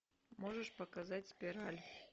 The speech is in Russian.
можешь показать спираль